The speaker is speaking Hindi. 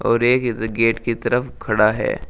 और एक इस गेट की तरफ खड़ा है।